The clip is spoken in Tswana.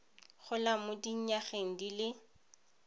golang mo dinyageng di le